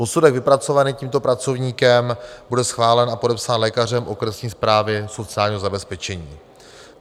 Posudek vypracovaný tímto pracovníkem bude schválen a podepsán lékařem okresní správy sociálního zabezpečení.